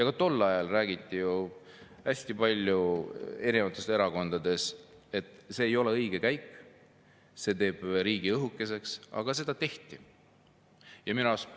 Ka tol ajal räägiti erinevates erakondades hästi palju sellest, et see ei ole õige käik, see teeb riigi õhukeseks, aga see tehti.